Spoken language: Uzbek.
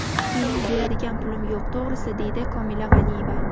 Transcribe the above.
Mening beradigan pulim yo‘q, to‘g‘risi, deydi Komila G‘aniyeva.